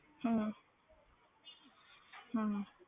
ਹਮ ਹਮ